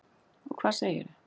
Og hvað segirðu?